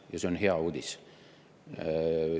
Ja see on hea uudis.